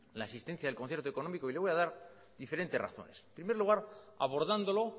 la existencia del concierto económico y le voy a dar diferentes razones en primer lugar abordándolo